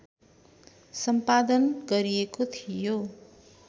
सम्पादन गरिएको थियो